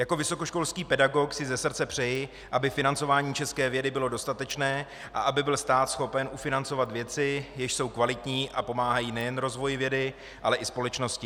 Jako vysokoškolský pedagog si ze srdce přeji, aby financování české vědy bylo dostatečné a aby byl stát schopen ufinancovat věci, jež jsou kvalitní a pomáhají nejen rozvoji vědy, ale i společnosti.